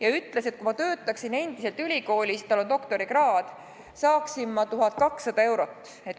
Ta ütles, et kui ma töötaksin endiselt ülikoolis – tal on doktorikraad –, saaksin ma palka 1200 eurot.